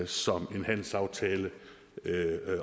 som en handelsaftale